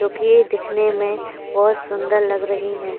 जो कि दिखने में बहुत सुंदर लग रही हैं।